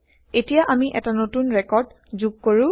এতিয়া160আমি এটা নতুন ৰেকৰ্ড যোগ কৰো